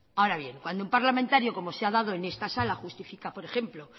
ahora bien cuando un parlamentario como se ha dado en esta sala justifica por ejemplo